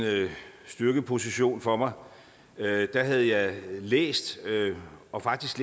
styrkeposition for mig havde jeg læst og faktisk